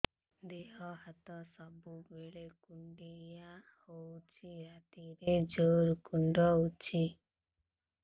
ଦେହ ହାତ ସବୁବେଳେ କୁଣ୍ଡିଆ ହଉଚି ରାତିରେ ଜୁର୍ କୁଣ୍ଡଉଚି